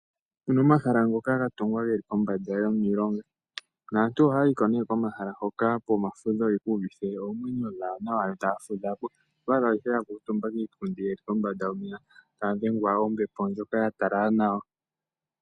Opuna omahala ngoka gatungwa geli kombanda yomilonga, naantu ohaya yiko nee komahala hoka pomafudho opo yeku uvithe oomwenyo dhawo nawa, yo taya fudhapo. Oto adha ihe yakuuntumba kiipundi yili kombanda yomeya, taya dhengwa kombepo ndyoka yatalala nawa.